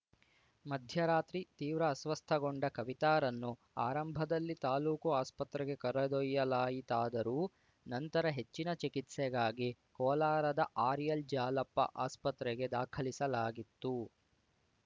ಮಧ್ಯರಾತ್ರಿ ತೀವ್ರ ಅಸ್ವಸ್ಥಗೊಂಡ ಕವಿತಾರನ್ನು ಆರಂಭದಲ್ಲಿ ತಾಲೂಕು ಆಸ್ಪತ್ರೆಗೆ ಕರೆದೊಯ್ಯಲಾಯಿತಾದರೂ ನಂತರ ಹೆಚ್ಚಿನ ಚಿಕಿತ್ಸೆಗಾಗಿ ಕೋಲಾರದ ಆರ್‌ಎಲ್‌ಜಾಲಪ್ಪ ಆಸ್ಪತ್ರೆಗೆ ದಾಖಲಿಸಲಾಗಿತ್ತು